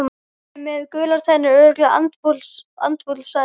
Hann er með gular tennur, örugglega andfúll sagði Magga.